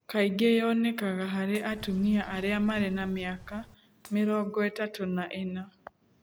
Kaingĩ yonekaga harĩ atumia arĩa marĩ na mĩaka mĩaka mĩrongo ĩtatũ na ĩna